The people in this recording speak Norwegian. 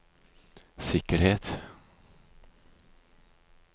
sikkerhet